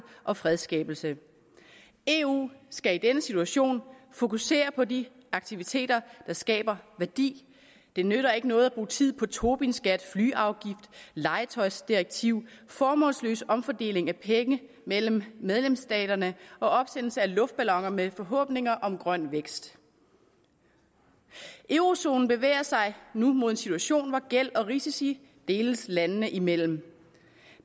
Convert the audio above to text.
og fredsskabelse eu skal i denne situation fokusere på de aktiviteter der skaber værdi det nytter ikke noget at bruge tid på tobinskat flyafgift legetøjsdirektiv formålsløs omfordeling af penge mellem medlemsstaterne og opsendelse af luftballoner med forhåbninger om grøn vækst eurozonen bevæger sig nu mod en situation hvor gæld og risici deles landene imellem